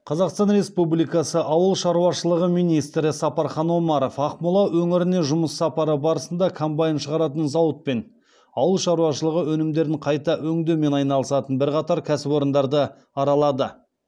қазақстан республикасы ауыл шаруашылығы министрі сапархан омаров ақмола өңіріне жұмыс сапары барысында комбайн шығаратын зауыт пен ауыл шаруашылығы өнімдерін қайта өңдеумен айналысатын бірқатар кәсіпорындарды аралады